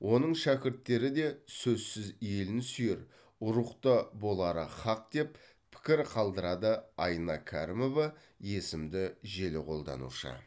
оның шәкірттері де сөзсіз елін сүйер рухта болары һақ деп пікір қалдырады айна кәрімова есімді желі қолданушы